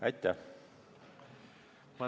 Aitäh!